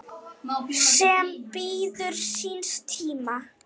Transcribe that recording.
sem bíður síns tíma